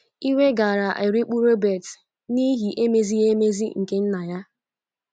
Iwe gaara erikpu Robert n’ihi emezighị emezi nke nna ya.